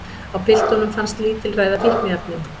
Á piltunum fannst lítilræði af fíkniefnum